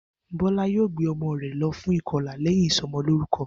Bó̩lá yóò gbé o̩mo̩ rè̩ lo̩ fún ìko̩là lé̩yìn ìso̩mo̩lórúko̩